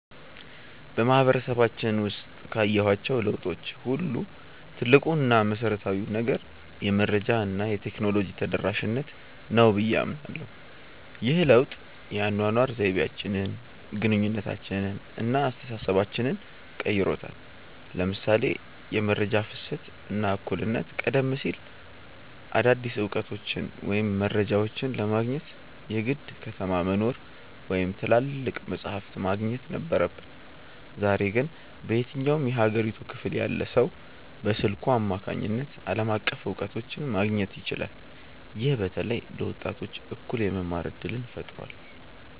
በማህበረሰባችን ውስጥ ካየኋቸው ለውጦች ሁሉ ትልቁ እና መሰረታዊው ነገር "የመረጃ እና የቴክኖሎጂ ተደራሽነት" ነው ብዬ አምናለሁ። ይህ ለውጥ የአኗኗር ዘይቤያችንን፣ ግንኙነታችንን እና አስተሳሰባችንን ቀይሮታል ለምሳሌ የመረጃ ፍሰት እና እኩልነት ቀደም ሲል አዳዲስ እውቀቶችን ወይም መረጃዎችን ለማግኘት የግድ ከተማ መኖር ወይም ትላልቅ መጻሕፍት ማግኘት ነበረብን። ዛሬ ግን በየትኛውም የሀገሪቱ ክፍል ያለ ሰው በስልኩ አማካኝነት ዓለም አቀፍ እውቀቶችን ማግኘት ይችላል። ይህም በተለይ ለወጣቶች እኩል የመማር እድልን ፈጥሯል።